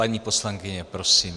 Paní poslankyně, prosím.